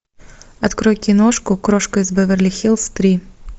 открой киношку крошка из беверли хиллз три